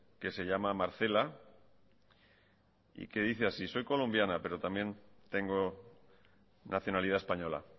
que se llama marcela y que dice así soy colombiana pero también tengo nacionalidad española